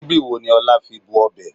Síbí wo ni Ọlá fi bu ọbẹ̀?